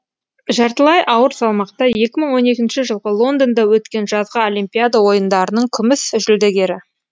жартылай ауыр салмақта екі мың он екінші жылғы лондонда өткен жазғы олимпиада ойындарының күміс жүлдегері